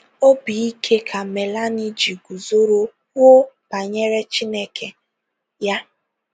Obi ike ka Milane ji guzoro kwuo banyere Chineke ya!